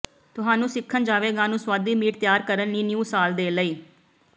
ਤੁਹਾਨੂੰ ਸਿੱਖਣ ਜਾਵੇਗਾ ਨੂੰ ਸੁਆਦੀ ਮੀਟ ਤਿਆਰ ਕਰਨ ਲਈ ਨਿਊ ਸਾਲ ਦੇ ਲਈ